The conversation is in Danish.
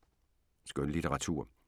Skønlitteratur